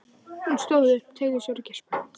Hún stóð upp, teygði úr sér og geispaði.